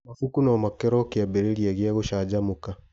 Mabuku no makorwo kĩambĩrĩria kĩa gũcanjamũka